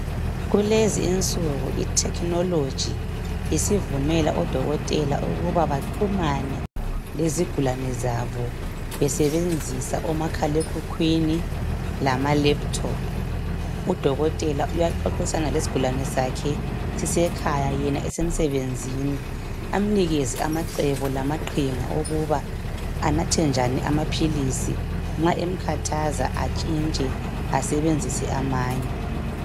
Kulezi insuku Ithekhinoloji isivumela odokotela ukuba baxhumane lezigulane zabo besebenzisa omakhalekhukhwini lamalaptop. Udokotela uyaxoxisana lesigulane sakhe sisekhaya yena esemsebenzini amnikeze amacebo lamaqhinga okuba anathe njani amaphilisi nxa emkhathaza atshintshe asebenzise amanye.